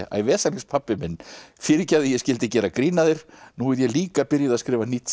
æ vesalings pabbi minn fyrirgefðu að ég skyldi gera grín að þér nú er ég líka byrjuð að skrifa